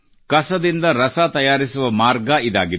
ಕಸದಿಂದ ರಸ ತಯಾರಿಸುವ ಮಾರ್ಗ ಇದಾಗಿದೆ